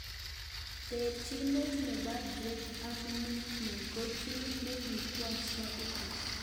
Terchinet nebo Drake ak Mikmill ko kigii ne kikwong'e shabikiek